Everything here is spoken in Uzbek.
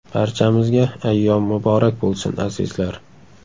Barchamizga ayyom muborak bo‘lsin, azizlar!